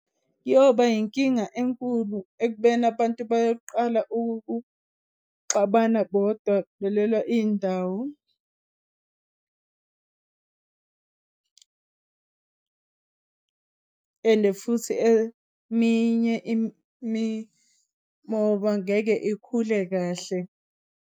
Kuyoba yinkinga enkulu ekubeni abantu bayoqala ukuxabana bodwa belwela indawo, ende futhi eminye imimoba ngeke ikhule kahle.